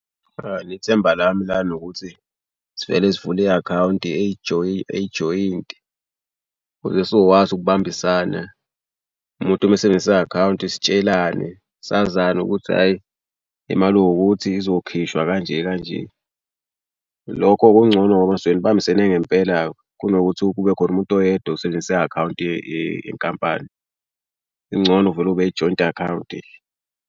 Ithemba lami lana ukuthi sivele sivule i-akhawunti eyijoyintini ukuze sizokwazi ukubambisana umuntu uma esebenzisa i-akhawunti sitshelane sazane ukuthi hhayi imali ewukuthi izokhishwa kanje kanje. Lokho kungcono ngoba nisuke nibambisene ngempela-ke. Kunokuthi kube khona umuntu oyedwa usebenzisa i-akhawunti yenkampani. Kungcono kuvele kube i-joint akhawunti.